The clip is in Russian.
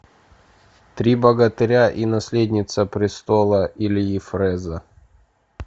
три богатыря и наследница престола ильи фреза